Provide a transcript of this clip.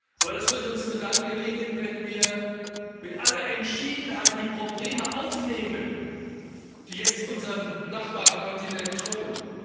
Aber das wird uns nur dann gelingen, wenn wir mit aller Entschiedenheit die Probleme aufnehmen, die jetzt unserem Nachbarkontinent drohen.